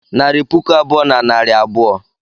Naịra puku abụọ na narị abụọ.